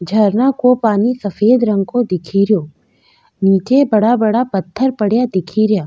झरना को पानी सफ़ेद रंग को दिखे रियो नीचे बड़ा बड़ा पत्थर पड़या दिखे रिया।